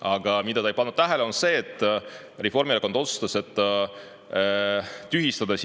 Aga ta ei pannud tähele, et Reformierakond on otsustanud tühistada